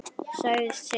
Sagðist skilja.